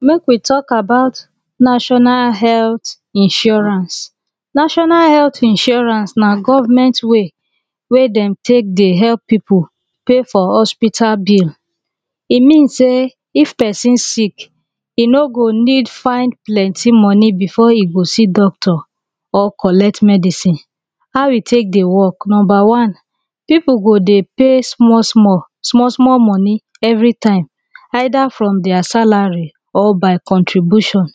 make we talk aboout national health insurance national health insurance nah government way weh them take deh help people pay for hospital bill e mean say person sick e no go need find plenty money before e go see doctor or collect medicine how e take deh work number one people go deh pay small small small small money every time either from their salary or by contribution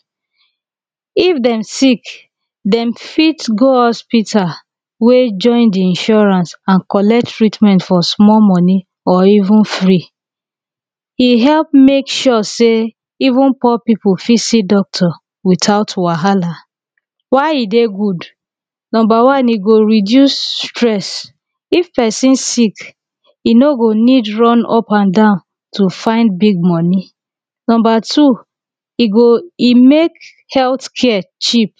if them sick them fit go hospital weh join the insurance and collect treatment for small money or even free e help make sure say even poor people fit see doctor without wahala why e deh good number one e go reduce stress if person sick e no go need run up and down to find big money number two e go e make health care chip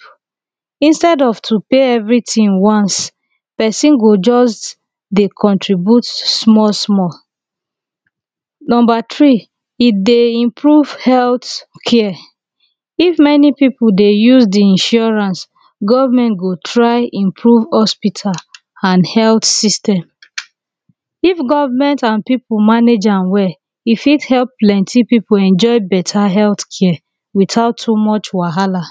instead of to pay everything once person go just deh contribute small samall number three e deh improve health care if many people deh use the insurance government go try improve hospital and health system if government and people manage am well e fit help plenty people enjoy better health care without too much wahala